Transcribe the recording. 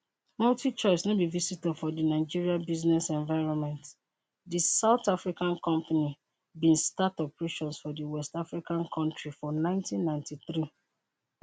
multichoice no be visitor for di nigeria business environment di south african company bin start operations for di west african kontri for 1993